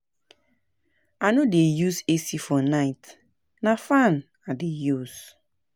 I no dey use AC for night, na fan I dey use.